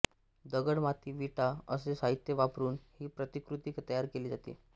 दगड माती विटा असे साहित्य वापरून ही प्रतिकृती तयार केली जाते